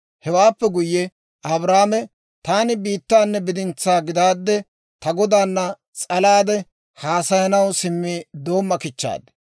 Hewaappe guyye Abrahaame, «Taani biittanne bidintsaa gidaadde ta Godaana s'alaade haasayanaw simmi doomma kichchaad;